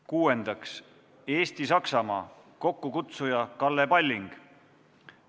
Kuuendaks, Eesti-Saksamaa, kokkukutsuja on Kalle Palling.